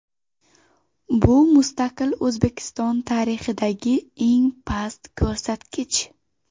Bu mustaqil O‘zbekiston tarixidagi eng past ko‘rsatkich.